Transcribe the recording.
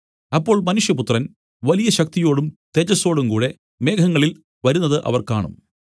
അപ്പോൾ മനുഷ്യപുത്രൻ വലിയ ശക്തിയോടും തേജസ്സോടുംകൂടെ മേഘങ്ങളിൽ വരുന്നത് അവർ കാണും